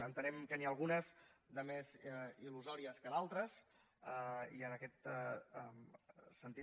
entenem que n’hi ha algunes de més il·lusòries que d’altres i en aquest sentit